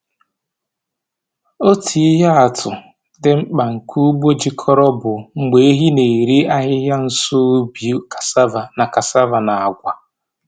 Otu ihe atụ dị mkpa nke ugbo jikọrọ bụ mgbe ehi na-eri ahịhịa nso ubi cassava na cassava na agwa.